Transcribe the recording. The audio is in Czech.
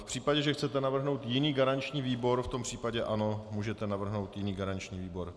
V případě, že chcete navrhnout jiný garanční výbor, v tom případě ano, můžete navrhnout jiný garanční výbor.